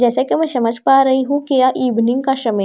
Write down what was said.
जैसा कि मैं समझ पा रही हूं कि यह इवनिंग का शमय --